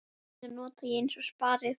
Mína nota ég aðeins spari.